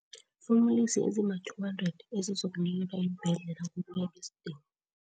fumulisi ezima-200 ezizokunikelwa iimbhedlela ngokuya ngesidingo.